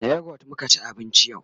da youghurt muka ci abinci yau